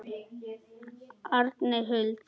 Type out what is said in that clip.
Arney Huld.